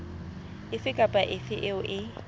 efe kapa efe eo e